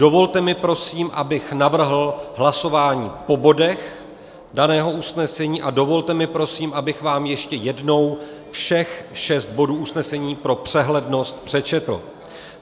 Dovolte mi, prosím, abych navrhl hlasování po bodech daného usnesení, a dovolte mi, prosím, abych vám ještě jednou všech šest bodů usnesení pro přehlednost přečetl.